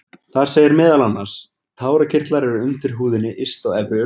Þar segir meðal annars: Tárakirtlar eru undir húðinni yst á efri augnlokum.